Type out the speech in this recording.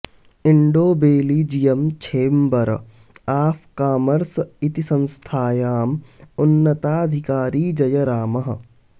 Indo Belgian chamber of commerce इति संस्थयाम् उन्नताधिकारी जयरामः